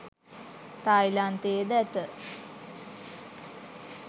තායිලන්තයේ ද ඇත